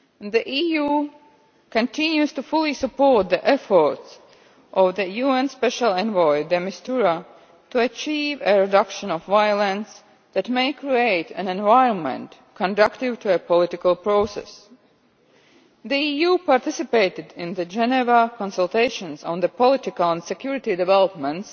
The EU continues to fully support the efforts of UN Special Envoy de Mistura to achieve a reduction in violence that may create an environment conducive to a political process. The EU has participated in the Geneva Consultations on the political and security developments